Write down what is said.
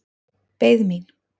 Beið mín.